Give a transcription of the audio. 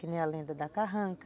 Que nem a lenda da carranca.